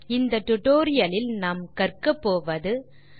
இந்த டுடோரியலின் முடிவில் உங்களால் பின் வருவனவற்றை செய்ய முடியும்